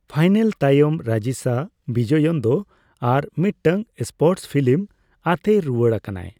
Final ᱛᱟᱭᱚᱢ, ᱨᱟᱡᱤᱥᱟ ᱵᱤᱡᱚᱭᱚᱱ ᱫᱚ ᱟᱨ ᱢᱤᱫᱴᱟᱝ ᱥᱯᱳᱨᱴᱥ ᱯᱷᱤᱞᱤᱢ ᱟᱛᱮᱭ ᱨᱩᱣᱟᱹᱲ ᱠᱟᱱᱟᱭ ᱾